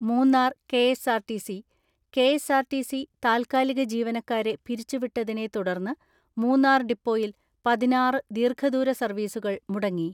മൂന്നാർ കെ.എസ്.ആർ.ടി.സി കെ.എസ്.ആർ.ടി.സി താൽക്കാലിക ജീവനക്കാരെ പിരിച്ചുവിട്ടതിനെ തുടർന്ന് മൂന്നാർ ഡിപ്പോയിൽ പതിനാറ് ദീർഘദൂര സർവ്വീസുകൾ മുടങ്ങി.